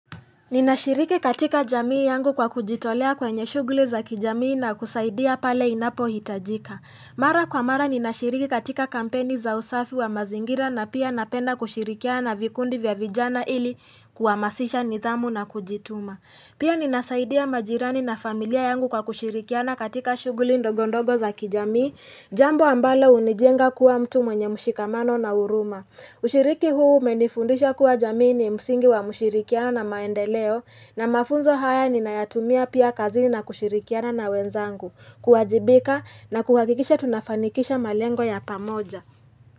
Ninashiriki katika jamii yangu kwa kujitolea kwenye shughuli za kijamii na kusaidia pale inapohitajika. Mara kwa mara ninashiriki katika kampeni za usafi wa mazingira na pia napenda kushirikiana na vikundi vya vijana ili kuhamasisha nidhamu na kujituma. Pia ninasaidia majirani na familia yangu kwa kushirikiana katika shughuli ndogondogo za kijamii, jambo ambalo hunijenga kuwa mtu mwenye mshikamano na huruma. Ushiriki huu umenifundisha kuwa jamii ni msingi wa mshirikiano na maendeleo na mafunzo haya ninayatumia pia kazini na kushirikiana na wenzangu, kuwajibika na kuhakikisha tunafanikisha malengo ya pamoja.